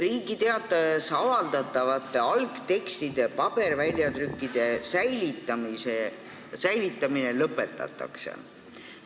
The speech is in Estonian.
Riigi Teatajas avaldatavate algtekstide paberväljatrükkide säilitamine lõpetatakse.